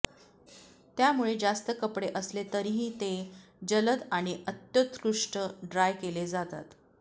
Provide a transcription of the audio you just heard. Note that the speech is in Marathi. त्यामुळे जास्त कपडे असले तरीही ते जलद आणि अत्योत्कृष्ट ड्राय केले जातात